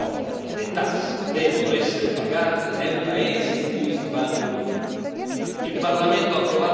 Lo ripetiamo fino alla noia le tasse devono essere pagate nel paese in cui si fanno i profitti.